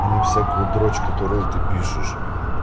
а не всякую дроч которую ты пишешь